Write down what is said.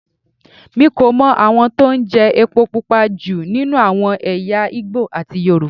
Mi kò mọ àwọn tó ń jẹ epo Pupa jù nínú àwọn ẹ̀yà Ìgbò àti Yorùbá.